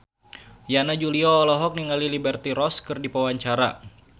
Yana Julio olohok ningali Liberty Ross keur diwawancara